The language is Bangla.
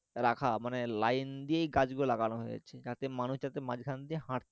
রাখা মানে line দিয়েই গাছ গুলোকে লাগানো হয়েছে যাতে মানুষ যাতে মাঝখান দিয়ে হাঁটতে